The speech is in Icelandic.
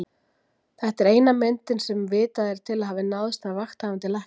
Þetta er eina myndin sem vitað er til að hafa náðst af Vakthafandi Lækni.